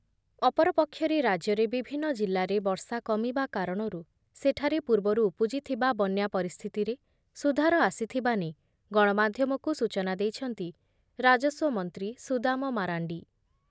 ଅପରପକ୍ଷରେ ରାଜ୍ୟରେ ବିଭିନ୍ନ ଜିଲ୍ଲାରେ ବର୍ଷା କମିବା କାରଣରୁ ସେଠାରେ ପୂର୍ବରୁ ଉପୁଜିଥିବା ବନ୍ୟା ପରିସ୍ଥିତିରେ ସୁଧାର ଆସିଥିବା ନେଇ ଗଣମାଧ୍ୟମକୁ ସୂଚନା ଦେଇଛନ୍ତି ରାଜସ୍ୱମନ୍ତ୍ରୀ ସୁଦାମ ମାରାଣ୍ଡି ।